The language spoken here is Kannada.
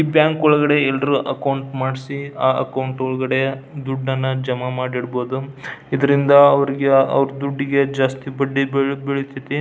ಈ ಬ್ಯಾಂಕ್ ಒಳಗಡೆ ಎಲ್ಲರು ಅಕೌಂಟ್ ಮಾಡಿಸಿ ಆಹ್ಹ್ ಅಕೌಂಟ್ ಒಳಗಡೆ ದುಡ್ಡನ್ನ ಜಮಾ ಮಾಡಿ ಇಡಬಹುದು ಇದರಿಂದ ಅವ್ರಿಗೆ ಅವ್ರ್ ದುಡ್ಡಿಗೆ ಜಾಸ್ತಿ ಬಡ್ಡಿ ಬೆಳಿತೈತಿ.